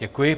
Děkuji.